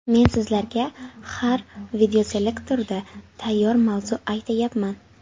Men sizlarga har videoselektorda tayyor mavzu aytayapman.